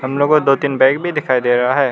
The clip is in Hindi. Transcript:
दो तीन बैग भी दिखाई दे रहा है।